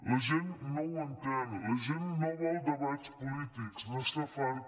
la gent no ho entén la gent no vol debats polítics n’està farta